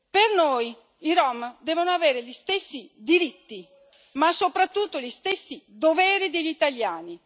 Per noi i rom devono avere gli stessi diritti, ma soprattutto gli stessi doveri degli italiani.